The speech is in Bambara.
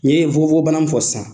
N'i ye nfukonfokon bana in fɔ sisan.